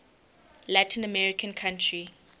latin american country